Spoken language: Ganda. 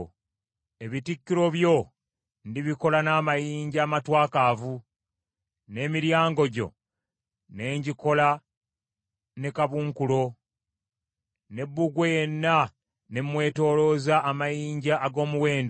Ebitikkiro byo ndibikola n’amayinja amatwakaavu, n’emiryango gyo ne ngikola ne kabunkulo, ne bbugwe yenna ne mwetoolooza amayinja ag’omuwendo.